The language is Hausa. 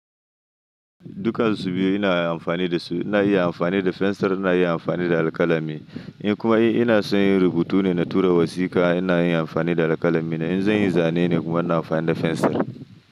Duka su biyu ina amfani da su. Ina iya amfani da fensir, ina iya amfani da alƙalami. In kuma ina son yin rubutu ne na tura wasika, ina yin amfani da alƙalami na. In zan yi zane ne kuma ina amfani da fensir.